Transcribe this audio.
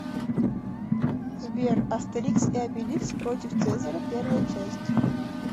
сбер астерикс и обеликс против цезаря первая часть